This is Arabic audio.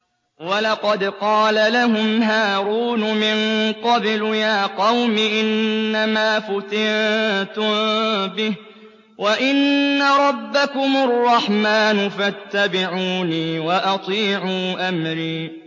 وَلَقَدْ قَالَ لَهُمْ هَارُونُ مِن قَبْلُ يَا قَوْمِ إِنَّمَا فُتِنتُم بِهِ ۖ وَإِنَّ رَبَّكُمُ الرَّحْمَٰنُ فَاتَّبِعُونِي وَأَطِيعُوا أَمْرِي